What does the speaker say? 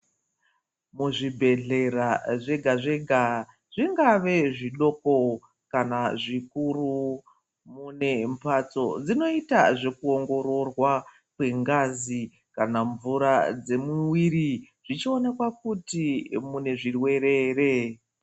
Muzvibhedhlera zvega-zvega, zvingave zvidoko kana zvikuru, mune mhatso dzinoita zvekuongororwa kwengazi kana mvura dzemumuviri, zvichionekwa kuti mune zvirwere here.